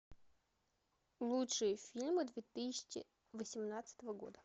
лучшие фильмы две тысячи восемнадцатого года